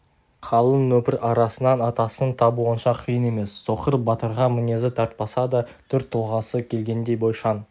қалың нөпір арасынан атасын табу онша қиын емес соқыр батырға мінезі тартпаса да түр-тұлғасы келгендей бойшаң